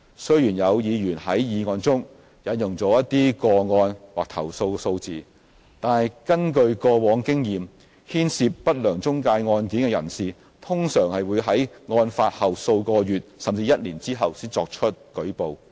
雖然有議員在議案中引用一些個案或投訴數字，但根據過往經驗，牽涉不良中介案件的人士通常會於案發後數個月甚至一年後才作出舉報。